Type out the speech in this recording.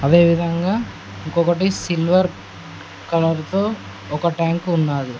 అదేవిధంగా ఇంకొకటి silver colour తో ఒక ట్యాంకు ఉన్నాది.